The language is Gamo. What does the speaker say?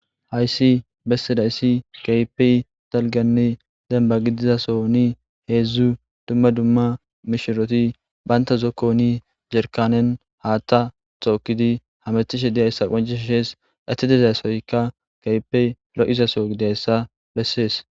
Haysi besidaysi kehipe dalganne denba gidida sohon hedzu dumma dumma mishiriti banta zokoni Jarkanne hata tokidi hametishe dizaysa qoncises eti dizaysoy kehipe lo'izaso gididaysa besese